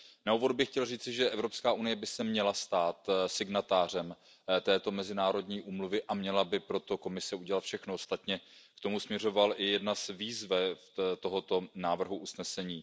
Na úvod bych chtěl říci, že Evropská unie by se měla stát signatářem této mezinárodní úmluvy a Komise by pro to měla udělat všechno, ostatně k tomu směřovala jedna z výzev tohoto návrhu usnesení.